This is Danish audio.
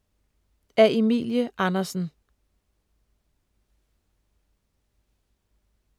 Af Emilie Andersen